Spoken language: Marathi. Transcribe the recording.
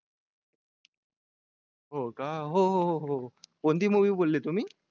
हो का हो हो हो हो कोणती movie बोलले तुम्ही